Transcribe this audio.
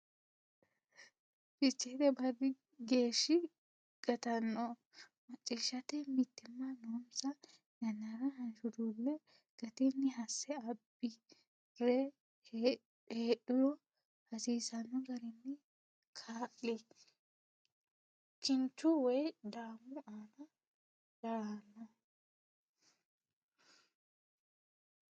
Ficheete barri geeshshi gatanno Macciishshate mitiimma noonsa yannara hanshuluulle gatinni hase abbi re heedhuro hasiisanno garinni kaa li kinchu woy daammu aana daahanno.